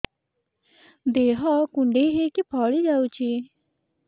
ଦେହ କୁଣ୍ଡେଇ ହେଇକି ଫଳି ଯାଉଛି